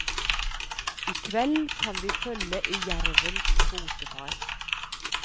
I kveld kan vi følge i jervens fotefar.